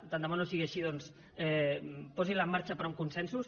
tan de bo no sigui així doncs posinla en marxa però amb consensos